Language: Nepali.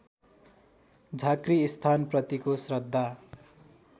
झाँक्री स्थानप्रतिको श्रद्धा